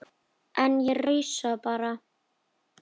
En ég rausa bara.